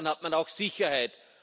Dann hat man auch Sicherheit.